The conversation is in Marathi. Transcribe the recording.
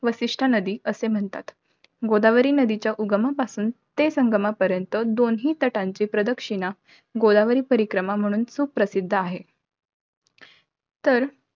वसिष्ठ नदी असे म्हणतात. गोदावरी नदीच्या उगमापासून ते संगमापर्यंत, दोन्ही तटाची प्रदक्षिणा, गोदावरी प्रदक्षिणा म्हणून सुप्रसिद्ध आहे. तर,